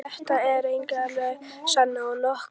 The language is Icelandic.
Þetta er reyndar löng saga og nokkuð flókin.